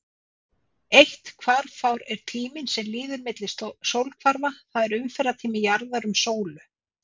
Eitt hvarfár er tíminn sem líður milli sólhvarfa, það er umferðartími jarðar um sólu.